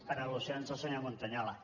per al·lusions del senyor montañola